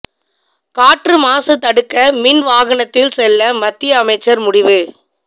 காற்று மாசு தடுக்க மின் வாகனத்தில் செல்ல மத்திய அமைச்சர் முடிவு